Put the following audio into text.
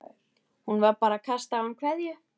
Hún var bara að kasta á hann kveðju.